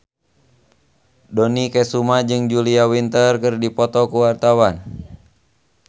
Dony Kesuma jeung Julia Winter keur dipoto ku wartawan